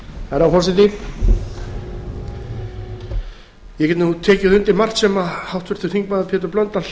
herra forseti ég get tekið undir margt sem háttvirtur þingmaður pétur blöndal